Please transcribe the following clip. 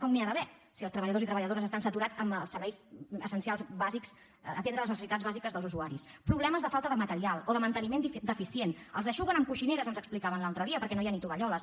com n’hi ha d’haver si els treballadors i treballadores estan saturats atenent les necessitats bàsiques dels usuaris problemes de falta de material o de manteniment deficient els eixuguen amb coixineres ens explicaven l’altre dia perquè no hi ha ni tovalloles